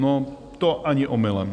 No to ani omylem.